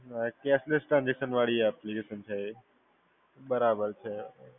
અ cashless transaction વાળી application છે એ. બરાબર છે.